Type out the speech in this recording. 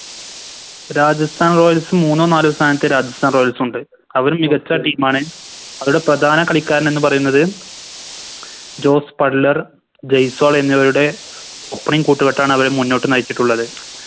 Rajasthan royals മൂന്നോ നാലോ സ്ഥാനത്ത് Rajasthan royals ഉണ്ട് അവര് മികച്ച Team ആണ് അവിടെ പ്രധാന കളിക്കാരൻ എന്ന് പറയുന്നത് ജോസ് ബട്ട്ലർ ജയ്‌സ്വാൾ എന്നിവരുടെ Opening കൂട്ടുകെട്ടാണ് അവരെ മുന്നോട്ട് നയിച്ചിട്ടുള്ളത്